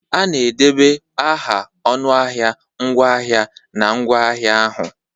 A na-ede aha ọnụahịa ngwaahịa na ngwaahịa ahụ.